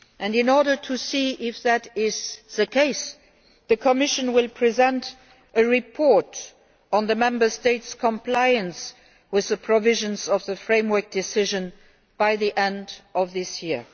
In order to see if that is the case, the Commission will present a report on the Member States' compliance with the provisions of the framework decision by the end of this year.